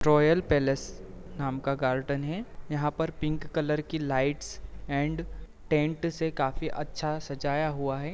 Royal palace नाम का garden है यहां पर पिंक कलर की लाइट्स ऐंड टेन्ट से काफी अच्छा सजाया हुआ है।